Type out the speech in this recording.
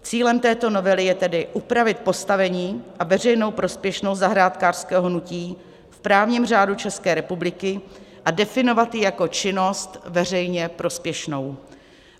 Cílem této novely je tedy upravit postavení a veřejnou prospěšnost zahrádkářského hnutí v právním řádu České republiky a definovat ji jako činnost veřejně prospěšnou.